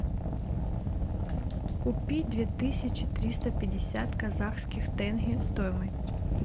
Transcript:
купить две тысячи триста пятьдесят казахских тенге стоимость